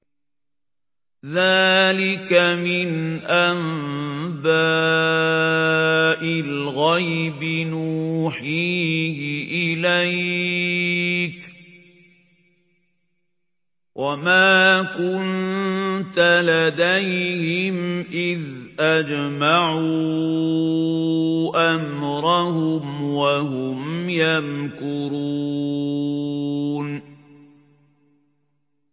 ذَٰلِكَ مِنْ أَنبَاءِ الْغَيْبِ نُوحِيهِ إِلَيْكَ ۖ وَمَا كُنتَ لَدَيْهِمْ إِذْ أَجْمَعُوا أَمْرَهُمْ وَهُمْ يَمْكُرُونَ